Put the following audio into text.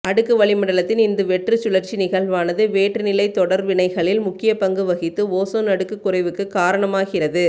அடுக்கு வளிமண்டலத்தில் இந்த வெற்றுச் சுழற்சி நிகழ்வானது வேற்றுநிலைத் தொடர் வினைகளில் முக்கியப்பங்கு வகித்து ஓசோன் அடுக்கு குறைவுக்கு காரணமாகிறது